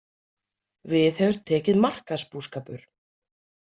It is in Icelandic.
Við hefur tekið markaðsbúskapur.